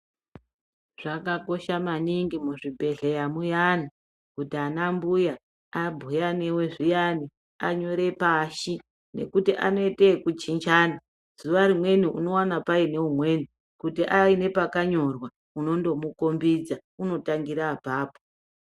Zvakakosha maningi muzvibhedhleya muyani kuti anambuya abhuya newe zviyanyi anyore pashi nekuti anoite ekuchinjana. Zuwa rimweni unoona paineumweni kuti paine pakayorwa uno ndomukombidza unotangira apapo.